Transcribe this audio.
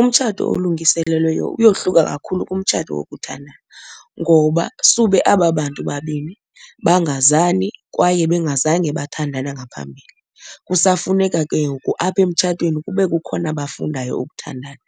Umtshato olungiselelweyo uyohluka kakhulu kumtshato wokuthandana ngoba sube aba bantu babini bangazani kwaye bengazange bathandana ngaphambili. Kusafuneka ke ngoku apha emtshatweni kube kukhona bafundayo ukuthandana.